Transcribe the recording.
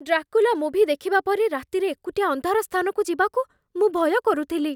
Dracula movie ଦେଖିବା ପରେ, ରାତିରେ ଏକୁଟିଆ ଅନ୍ଧାର ସ୍ଥାନକୁ ଯିବାକୁ ମୁଁ ଭୟ କରୁଥିଲି।